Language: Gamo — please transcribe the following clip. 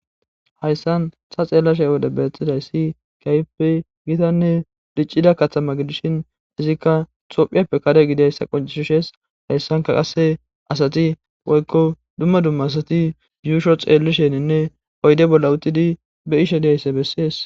Hayssan ha xeellashe wode beeththiday si kaype gitanne diccida kaththama gidishin izikka xophiyappe kare gidayssa qoncishushees hayssanka qasse asati woykko dumma dumma asati yuusho xeellisheninne oyde bolla utidi be ishe diyaysse bessies.